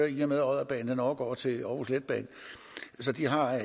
i og med at odderbanen er overgået til århus letbane de har